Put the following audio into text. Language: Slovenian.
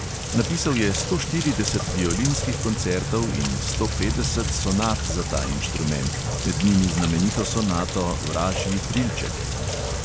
Napisal je sto štirideset violinskih koncertov in sto petdeset sonat za ta inštrument, med njimi znamenito sonato vražji trilček.